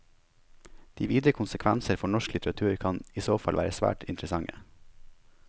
De videre konsekvenser for norsk litteratur kan i så fall være svært interessante.